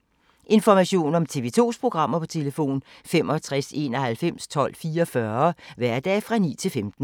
Information om TV 2's programmer: 65 91 12 44, hverdage 9-15.